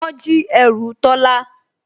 Wọ́n jí ẹrù Tọ́lá